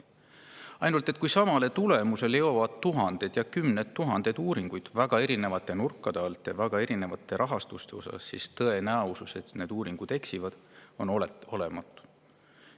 Ainult, et kui samale tulemusele jõuavad tuhanded ja kümned tuhanded uuringud väga erinevate nurkade alt, kusjuures need on väga erineva rahastusega, siis tõenäosus, et need uuringud eksivad, on olematu.